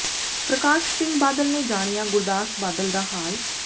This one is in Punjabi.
ਪ੍ਰਕਾਸ਼ ਸਿੰਘ ਬਾਦਲ ਨੇ ਜਾਣਿਆ ਗੁਰਦਾਸ ਬਾਦਲ ਦਾ ਹਾਲ